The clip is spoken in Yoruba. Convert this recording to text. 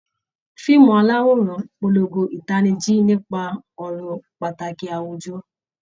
Fíìmù aláwòrán ń polongo ìtanijí nípa ọ̀rọ̀ pàtàkì àwùjọ